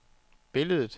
billedet